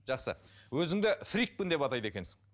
жақсы өзіңді фрикпін деп атайды екенсің